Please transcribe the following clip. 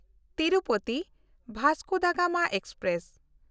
Tirupati Vasco da Gama express